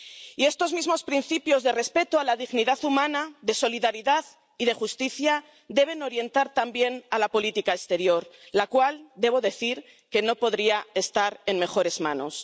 Y estos mismos principios de respeto a la dignidad humana, de solidaridad y de justicia deben orientar también la política exterior, la cual, debo decir, que no podría estar en mejores manos.